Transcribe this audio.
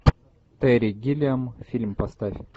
терри гиллиам фильм поставь